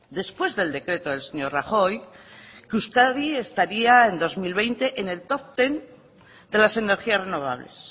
después del decreto del señor rajoy que euskadi estaría en dos mil veinte en el topo ten de las energías renovables